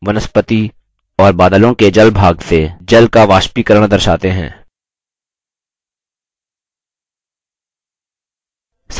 ये arrows जमीन वनस्पति और बादलों के जल भाग से जल का वाष्पीकरण दर्शाते हैं